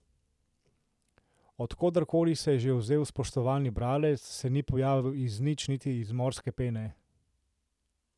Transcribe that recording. Od koderkoli se je že vzel spoštovani bralec, se ni pojavil iz nič niti iz morske pene.